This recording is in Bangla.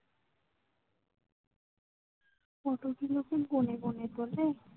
photo গুলো কি গোনে গোনে তোলে